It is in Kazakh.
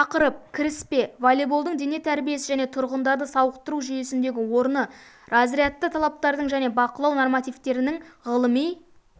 тақырып кіріспе волейболдың дене тәрбиесі және тұрғындарды сауықтыру жүйесіндегі орны разрядты талаптардың және бақылау нормативтерінің ғылыми